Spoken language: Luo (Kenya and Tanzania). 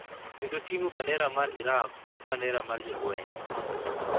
kendo ting’o bandera mar Iraq kod bandera mar jolweny